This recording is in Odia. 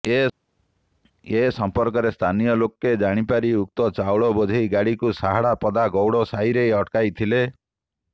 ଏ ସମ୍ପର୍କରେ ସ୍ଥାନୀୟ ଲୋକେ ଜାଣିପାରି ଉକ୍ତ ଚାଉଳ ବୋଝେଇ ଗାଡ଼ିକୁ ସାହାଡ଼ାପଦା ଗୌଡ଼ ସାହିରେ ଅଟକାଇ ଥିଲେ